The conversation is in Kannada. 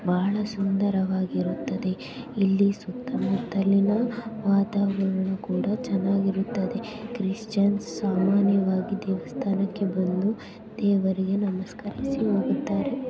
ಬಹಳಾ ಸುಂದರವಾಗಿ ಇರುತ್ತದೆ ಇಲ್ಲಿ ಸುತ್ತಮುತ್ತಲಿನ ವಾತಾವರಣ ಕೂಡ ಚೆನ್ನಾಗಿ ಇರುತ್ತದೆ. ಕ್ರಿಸ್ಟಿಯನ್ ಸಾಮಾನ್ಯವಾಗಿ ದೇವಸ್ಥಾನಕ್ಕೆ ಬಂದು ದೇವರಿಗೆ ನಮಸ್ಕಾರಿಸಿ ಹೂಗುತ್ತಾರೆ